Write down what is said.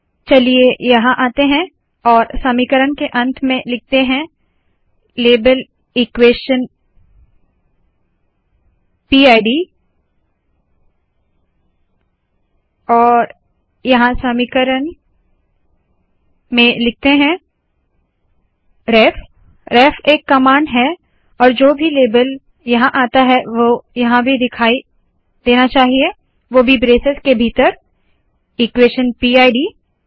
चलिए यहाँ आते है और समीकरण के अंत में लाबेल इक्वेशन पिड लेबल इक्वेश़न पिड लिखते है और यहाँ समीकरण में लिखते है रेफ रेफ रेफ एक कमांड है और जो भी लेबल यहाँ आता है वह यहाँ भी दिखाई देना चाहिए वो भी ब्रेसेस के भीतर इक्वेशन पिड